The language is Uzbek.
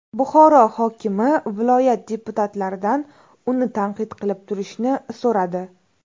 Buxoro hokimi viloyat deputatlaridan uni tanqid qilib turishni so‘radi.